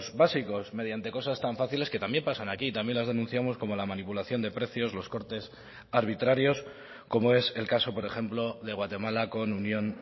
básicos mediante cosas tan fáciles que también pasan aquí y también las denunciamos como la manipulación de precios los cortes arbitrarios como es el caso por ejemplo de guatemala con unión